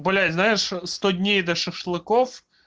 блять знаешь сто дней до шашлыков